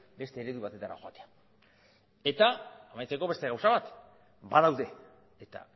beste eredu batetara joatea eta amaitzeko beste gauza bat badaude eta